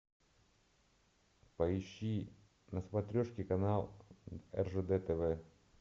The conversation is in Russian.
поищи на смотрешке канал ржд тв